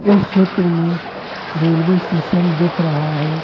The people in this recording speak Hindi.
इस चित्र में रेलवे स्टेशन दिख रहा है।